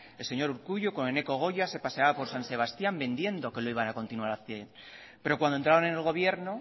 el señor urkullu con eneko goia se paseaba por san sebastián vendiendo que lo iban a continuar haciendo pero cuando entraron en el gobierno